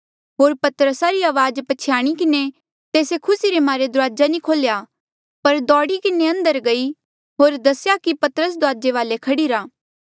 होर पतरसा री अवाज प्छयाणी किन्हें तेस्से खुसी रे मारे दुराजा नी खोल्या पर दोड़ी किन्हें अंदरा गई होर दसेया कि पतरस दुराजे वाले खड़ीरा